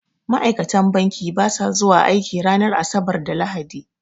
Ma'aikatan banki ba sa zuwa aiki ranar asabar da lahadi